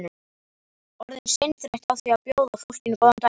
Orðin seinþreytt á því að bjóða fólkinu góðan daginn.